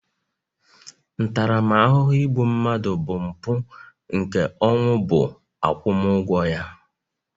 ntaramahụhụ igbu mmadụ bụ mpu nke ọnwụ bu agwumu ugwo ya